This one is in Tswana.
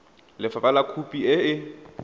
ba lefapha khopi e e